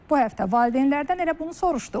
Bu həftə valideynlərdən elə bunu soruşduq.